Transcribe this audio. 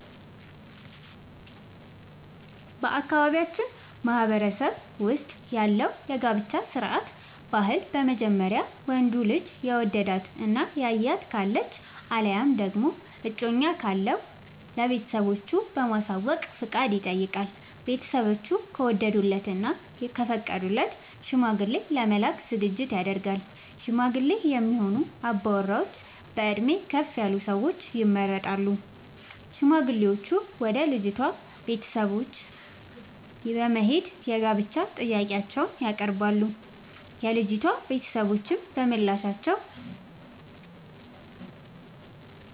በአካባቢያችን ማህበረሰብ ውስጥ ያለው የጋብቻ ስርዓት/ ባህል በመጀመሪያ ወንዱ ልጅ የወደዳት እና ያያት ካለች አለያም ደግሞ እጮኛ ካለው ለቤተሰቦቹ በማሳወቅ ፍቃድ ይጠይቃል። ቤተስቦቹ ከወደዱለት እና ከፈቀዱለት ሽማግሌ ለመላክ ዝግጅት ይደረጋል። ሽማግሌ የሚሆኑ አባወራዎች በእድሜ ከፍ ያሉ ሰዎች ይመረጣሉ። ሽማግሌዎቹም ወደ ልጅቷ ቤተሰቦች በት በመሄድ የጋብቻ ጥያቄአቸውን ያቀርባሉ። የልጂቷ ቤተሰቦችም በምላሻቸው